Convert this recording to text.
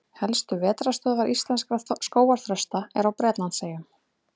Helstu vetrarstöðvar íslenskra skógarþrasta eru á Bretlandseyjum.